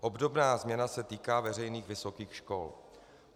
Obdobná změna se týká veřejných vysokých škol.